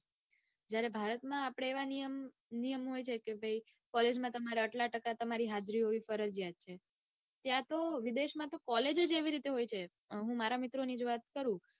જયારે ભારતમાં આપડે એવા નિયમ હોય છે કે ભાઈ કોલેજમાં તમારે આટલા ટકા હાજરી હોવી ફરિજયાત હોય છે. ત્યાંતો વિદેશમાં તો college જ એ રીતે હોય છે. હું મારા મિત્રોની જ વાત કરું